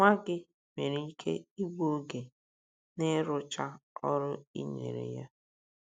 Nwa gị nwere ike igbu oge n’ịrụcha ọrụ i nyere ya.